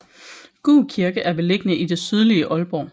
Gug Kirke er beliggende i det sydlige Aalborg